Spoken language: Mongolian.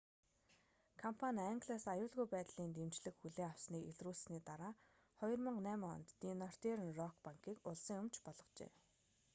компани англиас аюулгүй байдлын дэмжлэг хүлээн авсаныг илрүүлсэний дараа 2008 онд ди нортерн рок банкийг улсын өмч болгожээ